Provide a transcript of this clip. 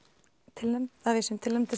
tilnefnd að við séum tilnefnd